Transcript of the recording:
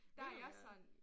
Vil du gerne?